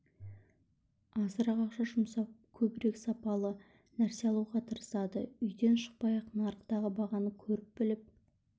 азырақ ақша жұмсап көбірек және сапалы нәрсе алуға тырысады үйден шықпай-ақ нарықтағы бағаны көріп біліп